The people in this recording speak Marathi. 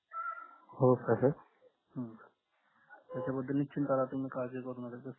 हो का sir pending